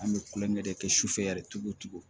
An bɛ kulonkɛ de kɛ kɛ sufɛ yɛrɛ cogo cogo